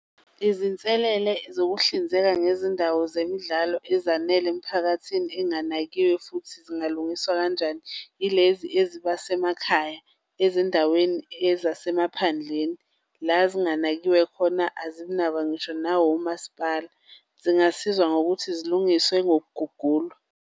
Izinselele zokuhlinzeka ngezindawo zemidlalo ezanele emiphakathini enganakiwe futhi zingalungiswa kanjani, yilezi eziba semakhaya, ezindaweni ezasemaphandleni la zinganakiwe khona, azinakwa ngisho nawumasipala, zingasizwa ngokuthi zilungiswe ngokugugulwa.